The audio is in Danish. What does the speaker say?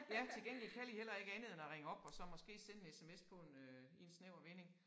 Ja til gengæld kan de heller ikke andet end at ringe op og så måske sende sms på en øh i en snæver vending